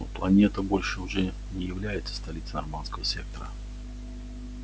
но планета больше уже не является столицей норманского сектора